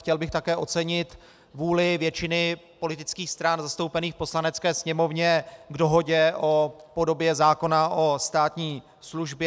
Chtěl bych také ocenit vůli většiny politických stran zastoupených v Poslanecké sněmovně k dohodě o podobě zákona o státní službě.